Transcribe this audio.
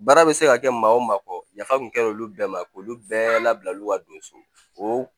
Baara bɛ se ka kɛ maa o maa kɔ yafa tun kɛra olu bɛɛ ma k'olu bɛɛ labila olu ka don so o